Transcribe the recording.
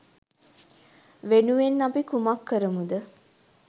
වෙනුවෙන් අපි කුමක්‌ කරමුද?